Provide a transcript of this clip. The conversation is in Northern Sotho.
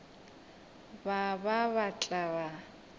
ba ba ba tla ba